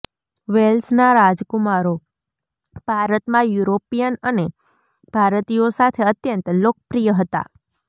વેલ્સના રાજકુમારો ભારતમાં યુરોપિયન અને ભારતીયો સાથે અત્યંત લોકપ્રિય હતા